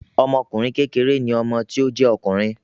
Ọmọkùnrin kékeré ni ọmọ tí ó jé òkùnrùn